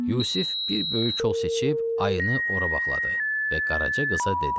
Yusif bir böyük kol seçib ayını ora bağladı və Qaraca qıza dedi: